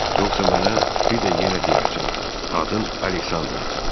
Yoxsa mənə bir də yenə deyərsən: Adın Aleksandrdır.